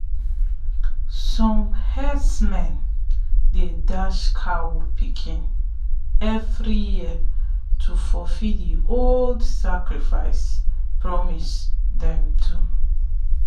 some herdsmen dey dash cow pikin every year to fulfill the old sacrifice promise them do.